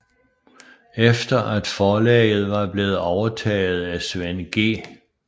Efter at forlaget var blevet overtaget af Svend G